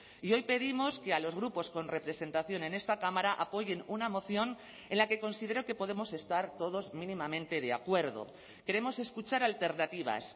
y hoy pedimos que a los grupos con representación en esta cámara apoyen una moción en la que considero que podemos estar todos mínimamente de acuerdo queremos escuchar alternativas